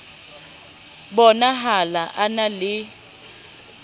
bo nahala a na le